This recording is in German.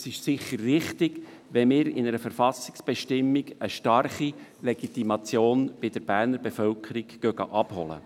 Es ist sicher richtig, wenn wir mit einer Verfassungsbestimmung bei der bernischen Bevölkerung eine starke Legitimation abholen.